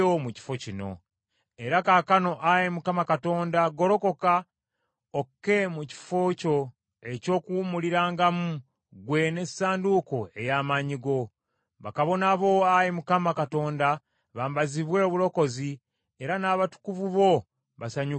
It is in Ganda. “Era kaakano, Ayi Mukama Katonda golokoka, okke mu kifo kyo eky’okuwummulirangamu, ggwe n’essanduuko ey’amaanyi go. Bakabona bo Ayi Mukama Katonda, bambazibwe obulokozi, era n’abatukuvu bo basanyukire obulungi bwo.